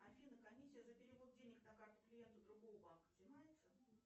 афина комиссия за перевод денег на карту клиента другого банка взимается